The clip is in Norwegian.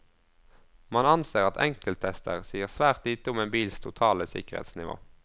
Man anser at enkelttester sier svært lite om en bils totale sikkerhetsnivå.